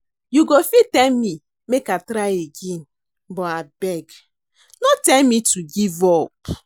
You go fit tell me make I try again but abeg no tell me to give up